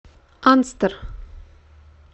анстер